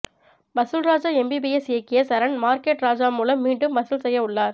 வசூல் Raja M B B S இயக்கிய Charan market Raja மூலம் மீண்டும் வசூல் செய்ய உள்ளார்